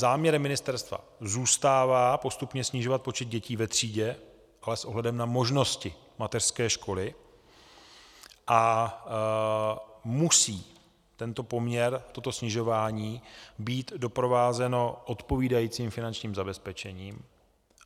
Záměrem ministerstva zůstává postupně snižovat počet dětí ve třídě, ale s ohledem na možnosti mateřské školy a musí tento poměr, toto snižování být doprovázeno odpovídajícím finančním zabezpečením.